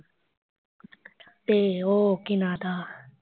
ਤੇ ਉਹ ਕੀ ਨਾਂ ਉਹਦਾ